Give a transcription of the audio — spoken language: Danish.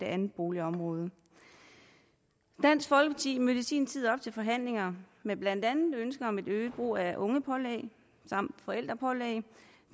andet boligområde dansk folkeparti mødte i sin tid op til forhandlinger med blandt andet et ønske om øget brug af ungepålæg